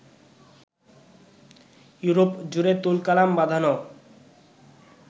ইউরোপ-জুড়ে তুলকালাম বাধানো